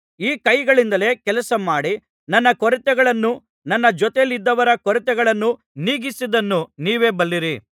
ಈ ಕೈಗಳಿಂದಲೇ ಕೆಲಸಮಾಡಿ ನನ್ನ ಕೊರತೆಗಳನ್ನೂ ನನ್ನ ಜೊತೆಯಲ್ಲಿದ್ದವರ ಕೊರತೆಗಳನ್ನು ನೀಗಿಸಿದ್ದನ್ನು ನೀವೇ ಬಲ್ಲಿರಿ